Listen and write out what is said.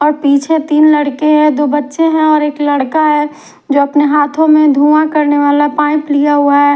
और पीछे तिन लड़के है दो बच्चे है और एक लड़का है जो अपने हाथो में धुँआ करने वाला पाइप लिया हुआ है।